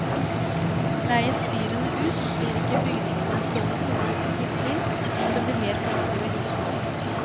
Leies fyrene ut, blir ikke bygningene stående tomme uten tilsyn, og det blir mer penger til vedlikehold.